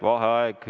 Vaheaeg.